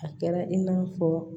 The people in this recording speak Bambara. A kɛra i n'a fɔ